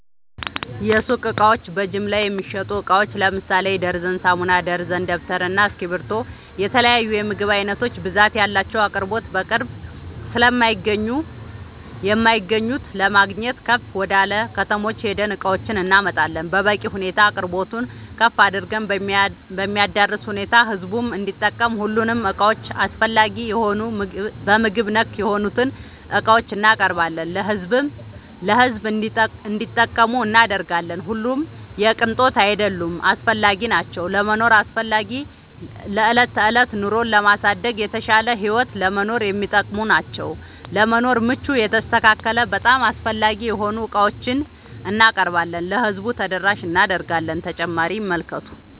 የሱቅ እቃዎች በጅምላ የሚሸጡ እቃዎች ለምሳሌ ደርዘን ሳሙና፣ ደርዘን ደብተር እና እስኪብርቶ የተለያዬ የምግብ አይነቶች ብዛት ያላቸው አቅርቦት በቅርብ ስለማይገኙ የማይገኙት ለማግኘት ከፍ ወደላ ከተሞች ሄደን እቃዎችን እናመጣለን በበቂ ሁኔታ አቅርቦቱን ከፍ አድርገን በሚያዳርስ ሁኔታ ህዝቡም እንዲጠቀም ሁሉንም እቃዎች አስፈላጊ የሆኑ በምግብ ነክ የሆኑትን እቃዎችን እናቀርባለን ለሕዝብ እንዲጠቀሙ እናደርጋለን። ሁሉም የቅንጦት አይደሉም አስፈላጊናቸው ለመኖር አስፈላጊ ለዕለት ተዕለት ኑሮን ለማሳደግ የተሻለ ህይወት ለመኖር የሚጠቅሙ ናቸው። ለመኖር ምቹ የተስተካከለ በጣም አስፈላጊ የሆኑ ዕቃዎችን እናቀርባለን ለህዝቡ ተደራሽ እናደርጋለን።…ተጨማሪ ይመልከቱ